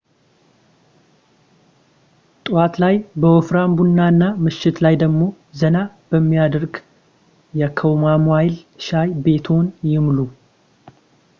ጠዋት ላይ በወፍራም ቡና እና ምሽት ላይ ደግሞ ዘና በሚያደርግ የካሞማይል ሻይ ቤትዎን ይሙሉ